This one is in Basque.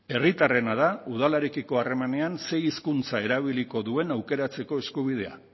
herritarrena da udalarekiko harremanean ze hizkuntza erabiliko duen aukeratzeko eskubidea